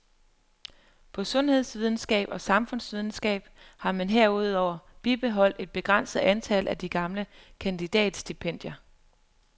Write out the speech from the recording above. På sundhedsvidenskab og samfundsvidenskab har man herudover bibeholdt et begrænset antal af de gamle kandidatstipendier.